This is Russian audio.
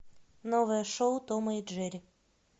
новое шоу тома и джерри